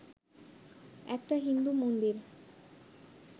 একটা হিন্দু মন্দির